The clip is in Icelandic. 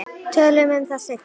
Tölum um það seinna.